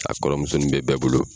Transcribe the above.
A kɔrɔmusonin be bɛɛ bolo